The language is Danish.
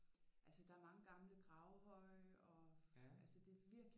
Altså der er mange gamle gravhøje og altså det er virkelig